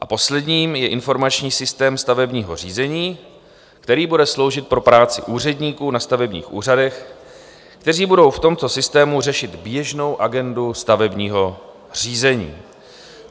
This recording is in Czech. A poslední je Informační systém stavebního řízení, který bude sloužit pro práci úředníků na stavebních úřadech, kteří budou v tomto systému řešit běžnou agendu stavebního řízení.